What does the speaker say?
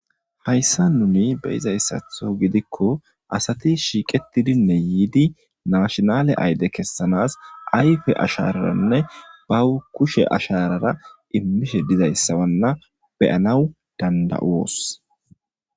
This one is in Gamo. hayssa nuni beyizayssatho gidikko asati shiiqetidinne yiidi naashnale ayde kessanas ayfe ashararanne bawu kushe asharara immishe dizayssawanna beyanaw danda7uos